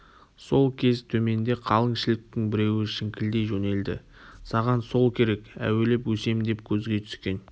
сол кез төменде қалың шіліктің біреуі шіңкілдей жөнелді саған сол керек әуелеп өсем деп көзге түскен